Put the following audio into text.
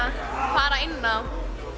fara inn á